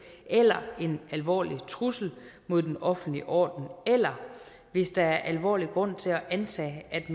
eller en alvorlig trussel mod den offentlige orden eller hvis der er alvorlig grund til at antage at